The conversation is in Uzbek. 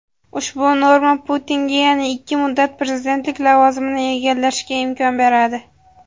ushbu norma Putinga yana ikki muddat prezidentlik lavozimini egallashga imkon beradi.